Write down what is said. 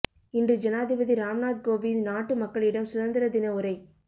இன்று ஜனாதிபதி ராம்நாத் கோவிந்த் நாட்டு மக்களிடம் சுதந்திர தின உரை